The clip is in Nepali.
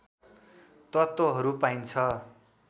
तत्त्वहरू पाइन्छ